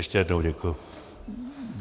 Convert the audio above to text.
Ještě jednou děkuji.